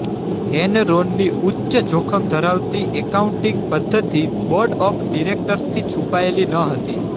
એનરોનની ઉચ્ચ જોખમ ધરાવતી એકાઉન્ટિંગ પદ્ધતિ બોર્ડ ઓફ ડિરેકટર્સથી છૂપાયેલી ન હતી